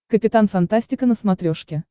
капитан фантастика на смотрешке